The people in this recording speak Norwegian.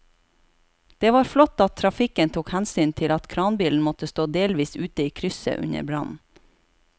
Det var flott at trafikken tok hensyn til at kranbilen måtte stå delvis ute i krysset under brannen.